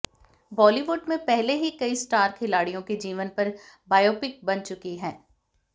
बॉलीवुड में पहले ही कई स्टार खिलाड़ियों के जीवन पर बायोपिक बन चुकी हैं